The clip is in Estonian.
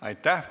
Aitäh!